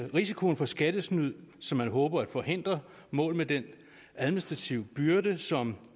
risikoen for skattesnyd som man håber at forhindre mål med den administrative byrde som